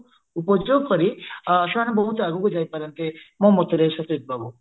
ଉପଯୋଗ କରି ସେମାନେ ବହୁତ ଆଗକୁ ଯାଇ ପାରନ୍ତେ ମୋ ମତରେ ସତେଜ ବାବୁ